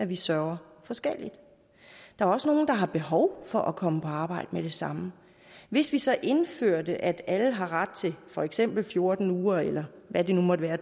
vi sørger forskelligt der er også nogle der har behov for at komme på arbejde med det samme hvis vi så indførte at alle har ret til for eksempel fjorten uger eller hvad det nu måtte være